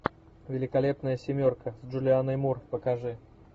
великолепная семерка с джулианой мур покажи